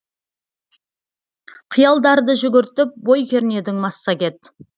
қиялдарды жүгіртіп бой кернедің массагет